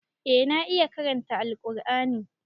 Eh na iya karanta Alqur'ani.